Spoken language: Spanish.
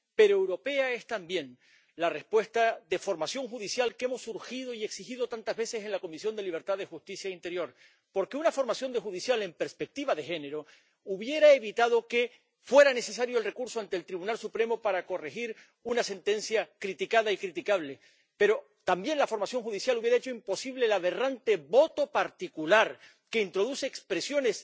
Pero europea es también la respuesta de formación judicial que hemos urgido y exigido tantas veces en la Comisión de Libertades Civiles, Justicia y Asuntos de Interior, porque una formación judicial en perspectiva de género hubiera evitado que fuera necesario el recurso ante el Tribunal Supremo para corregir una sentencia criticada y criticable. Pero también la formación judicial hubiera hecho imposible el aberrante voto particular, que introduce expresiones